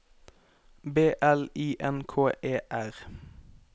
B L I N K E R